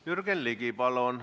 Jürgen Ligi, palun!